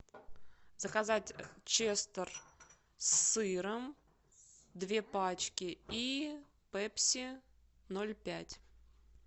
заказать честер с сыром две пачки и пепси ноль пять